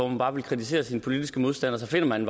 man bare vil kritisere sine politiske modstandere så finder man